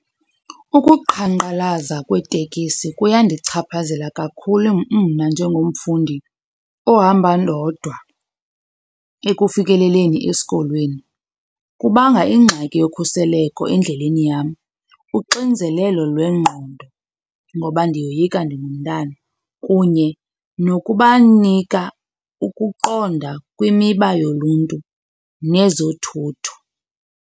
Ukuqhankqalaza kweetekisi kuyandichaphazela kakhulu mna njengomfundi ohamba ndodwa ekufikeleleni esikolweni. Kubanga ingxaki yokhuseleko endleleni yam, uxinzelelo lwengqondo ngoba ndiyoyika ndingumntana, kunye nokubanika ukuqonda kwimiba yoluntu nezothutho.